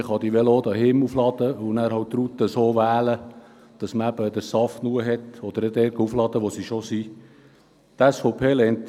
Man kann die Velos auch zu Hause aufladen und die Route so wählen, dass man genug Saft hat, oder man lädt bei bereits bestehenden Ladestationen die Batterien auf.